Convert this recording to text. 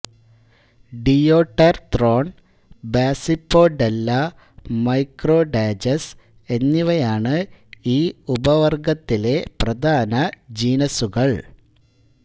ഡിയോടെർത്രോൺ ബാസിപ്പോഡെല്ല മൈക്രോഡാജസ് എന്നിവയാണ് ഈ ഉപവർഗത്തിലെ പ്രധാന ജീനസ്സുകൾ